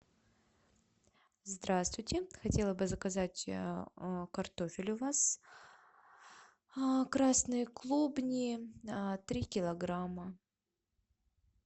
здравствуйте хотела бы заказать картофель у вас красные клубни три килограмма